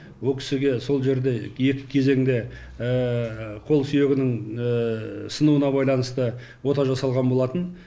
ол кісіге сол жерде екі кезеңді қол сүйегінің сынуына байланысты ота жасалған болатын